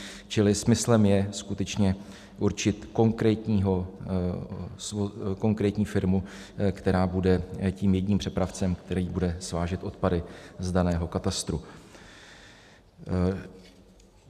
Čili smyslem je skutečně určit konkrétní firmu, která bude tím jedním přepravcem, který bude svážet odpady z daného katastru.